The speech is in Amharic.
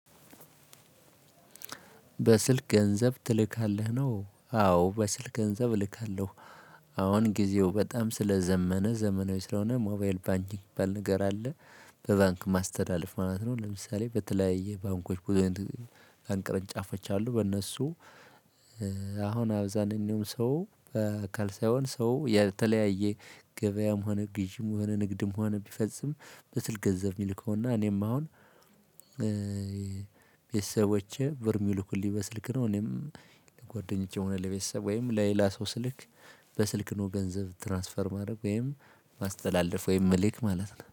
በስልክ ገንዘብ ትልካለህ ነው? አዎ በስልክ ገንዘብ እልካለሁ። አሁን ጊዜው በጣም ስለዘመነ ዘመናዊ ስለሆነ ሞባይል ባንኪንግ ባል ነገር አለ። በባንክ ማስተላለፍ ማለት ነው። ለምሳሌ በተለያየ ባንኮች ቅርንጫፎች አሉ። በእነሱ አሁን አብዛኛው ሰው በአካል ሳይሆን ሰው የተለያየ ገበያም ሆነ ግዢም ሆነ ንግድም ሆነ ቢፈጽም በስል ገንዘብ የሚልከውና እኔም አሁን ቤተሰቦቼ ቨርሚሉኩልኝ በስልክ ነው። እኔም ለጓደኞቼ ሆነ ለቤተሰብ ወይም ለሌላ ሰው ስልክ። በስልክ ነው ገንዘብ ትራንስፈር ማድረግ ወይም ማስተላለፍ ወይም የምልክ ማለት ነው